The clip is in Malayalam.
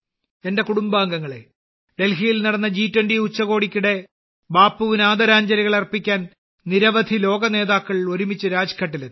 എന്റെ കുടുംബാംഗങ്ങളെ ഡൽഹിയിൽ നടന്ന ജി20 ഉച്ചകോടിക്കിടെ ബാപ്പുവിന് ആദരാഞ്ജലികൾ അർപ്പിക്കാൻ നിരവധി ലോകനേതാക്കൾ ഒരുമിച്ച് രാജ്ഘട്ടിലെത്തി